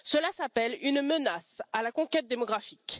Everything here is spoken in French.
Cela s'appelle une menace de conquête démographique.